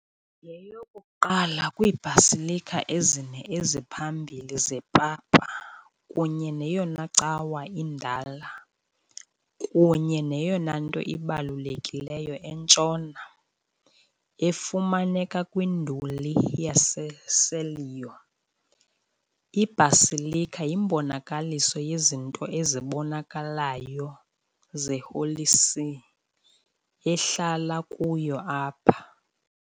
Yeyokuqala kwii -basilica ezine eziphambili zepapa kunye neyona cawa indala kunye neyona nto ibalulekileyo eNtshona .Efumaneka kwinduli yaseCelio, i-basilica yimbonakaliso yezinto ezibonakalayo ze-Holy See, ehlala kuyo apha.